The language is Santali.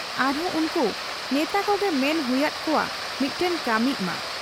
ᱟᱨᱦᱚᱸ ᱩᱱᱠᱩ ᱵᱮᱛᱟ ᱠᱚᱜᱮ ᱢᱮᱱ ᱦᱜᱩᱭᱟᱫ ᱠᱚᱣᱟ ᱢᱤᱫᱴᱟᱹᱝ ᱠᱟᱹᱢᱤᱜ ᱢᱟ ᱾